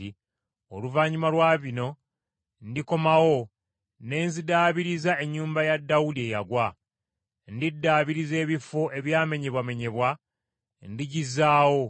“ ‘Oluvannyuma lwa bino ndikomawo, ne nziddaabiriza ennyumba ya Dawudi eyagwa. Ndiddaabiriza ebifo ebyamenyebwamenyebwa. Ndigizaawo,